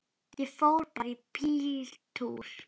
Ég fór bara í bíltúr.